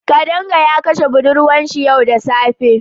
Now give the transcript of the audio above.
Kadanga ya kashe budurwarsa yau da safe.